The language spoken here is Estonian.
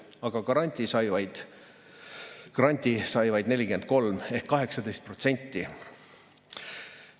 Aga grandi sai vaid 43 ehk 18%.